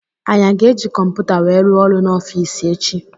Anyị aga eji kọmputa wee rụọ ọrụ n'ofici echi?